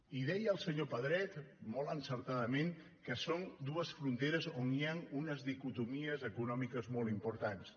i deia el senyor pedret molt encertadament que són dues fronteres on hi han unes dicotomies econò·miques molt importants